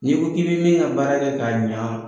Ni' ko ki bɛ min ka baara kɛ k'a ɲan.